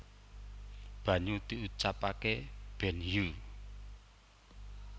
banyu diucapake benhyu